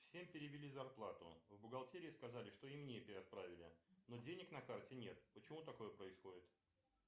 всем перевели зарплату в бухгалтерии сказали что и мне отправили но денег на карте нет почему такое происходит